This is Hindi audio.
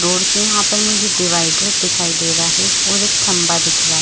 रोड के यहाँ पर मुझे डिवाइडर दिखाई दे रहा है और एक थंबा दिख रहा है।